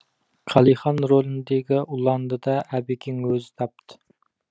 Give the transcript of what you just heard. қалихан роліндегі ұланды да әбекең өзі тапты